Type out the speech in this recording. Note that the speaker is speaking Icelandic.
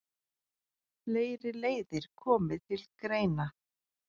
Fleiri leiðir komi til greina.